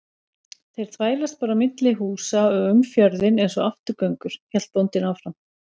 Þeir þvælast bara á milli húsa og um fjörðinn einsog afturgöngur, hélt bóndinn áfram.